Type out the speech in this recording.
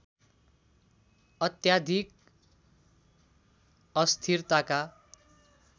अत्याधिक अस्थिरताका